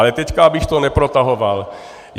Ale teď abych to neprotahoval.